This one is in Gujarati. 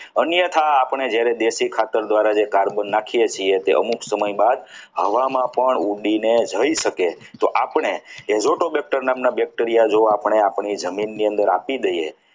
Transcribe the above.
અન્યથા આપણે જ્યારે દેશી ખાતર દ્વારા જે carbon નાખીએ છીએ તે અમુક સમય બાદ હવામાં પણ ઉદીને જઈ શકે છે તો આપણે jotobacter નામના bacteria જો આપણે આપણી જમીનના અંદર આપી દઈએ.